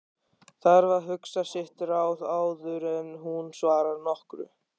Þarf að hugsa sitt ráð áður en hún svarar nokkru.